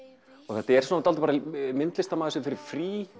þetta er myndlistarmaður sem fer í frí